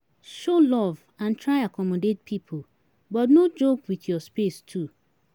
Show love and try accommodate pipo but no joke with your space too